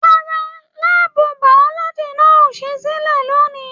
Rárá, láàbù biology náà o sì silẹ lóni.